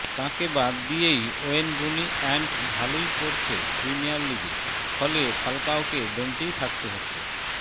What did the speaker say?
তাঁকে বাদ দিয়েই ওয়েন রুনি অ্যান্ড ভালোই করছে প্রিমিয়র লিগে ফলে ফালকাওকে বেঞ্চেই থাকতে হচ্ছে